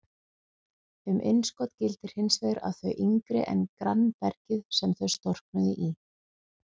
Um innskot gildir hins vegar að þau eru yngri en grannbergið sem þau storknuðu í.